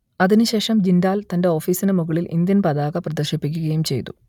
അതിനു ശേഷം ജിണ്ടാൽ തന്റെ ഓഫീസിനു മുകളിൽ ഇന്ത്യൻ പതാക പ്രദർശിപ്പിക്കുകയും ചെയ്തു